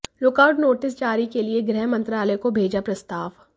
lookout notice जारी के लिए गृह मंत्रालय को भेजा प्रस्ताव